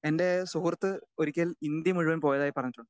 Speaker 2 എൻറെ സുഹൃത്ത് ഒരിക്കൽ ഇന്ത്യ മുഴുവനും പോയതായി പറഞ്ഞിട്ടുണ്ട്.